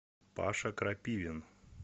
паша крапивин